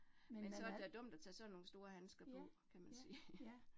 Ja, så det da dumt at tage sådan nogle store handsker på, kan man sige